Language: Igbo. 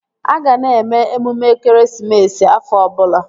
A ga na-eme emume ekeresimesi afọ ọbụla